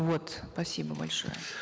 вот спасибо большое